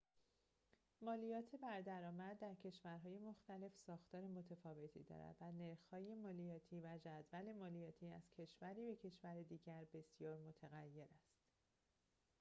مالیات بر درآمد در کشورهای مختلف ساختار متفاوتی دارد و نرخ‌های مالیاتی و جدول مالیاتی از کشوری به کشور دیگر بسیار متغیر است